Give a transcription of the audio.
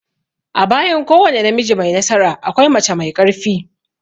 A bayan kowane namiji mai nasara, akwai mace mai ƙarfi.